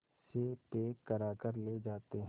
से पैक कराकर ले जाते हैं